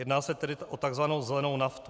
Jedná se tedy o tzv. zelenou naftu.